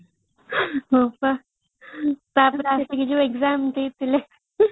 ହଁ ପା ଟା ପରେ ଆମେ ଯୋଉ exam ଦେଇଥିଲେ